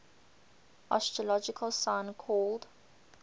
astrological sign called